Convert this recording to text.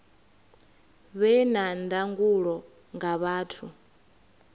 vhe na ndangulo nga vhathu